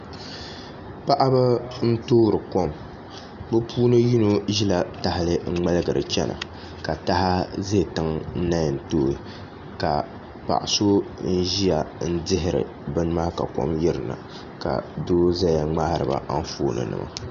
paɣaba n-toori kom bɛ puuni yino ʒila tahili n-ŋmaligiri chena ka taha ze tiŋ n-na yɛn tooi ka paɣ'so n-ʒia n-dihiri bini maa ka kom yiri na ka do zaya n-ŋmahiri ba anfooninima